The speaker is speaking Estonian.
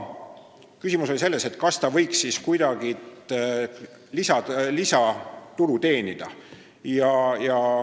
Küsimus oli selles, kas ta võiks kuidagi lisatulu teenida.